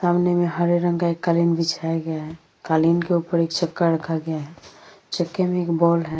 सामने में हरे रंग का एक कालीन बिछाया गया है कालीन के ऊपर एक चक्का रखा गया है चक्के में एक बोर्ड है |